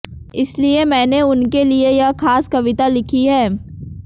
इसलिए मैंने उनके लिए यह खास कविता लिखी है